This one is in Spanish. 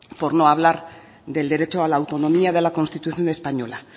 por no hablar del derecho a la autonomía de la constitución española